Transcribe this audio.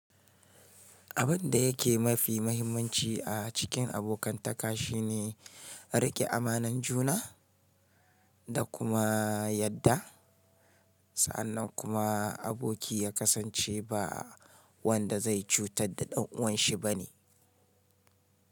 Abin da yake mafi mahimmanci a cikin abokantaka shine riƙe amanar juna da kuma yarda sa'annan kuma aboki ya kasance ba wanda zai cutar da ɗan'uwanshi bane.